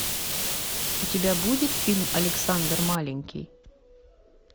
у тебя будет фильм александр маленький